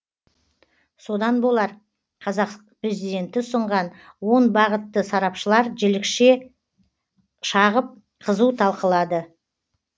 содан болар қазақ президенті ұсынған он бағытты сарапшылар жілікше шағып қызу талқылады